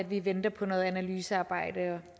vi venter på noget analysearbejde jeg